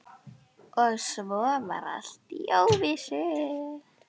Og svo var allt í óvissu.